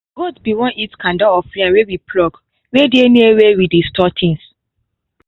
goat be won eat kanda of yam wey we pluck wey dey near where we dey store things